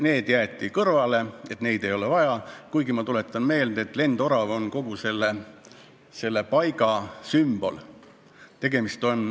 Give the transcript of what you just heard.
Nüüd jäeti need kõrvale, neid ei ole vaja, kuigi – ma tuletan meelde – lendorav on kogu selle paiga sümbol.